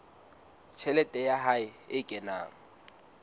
tjhelete ya hae e kenang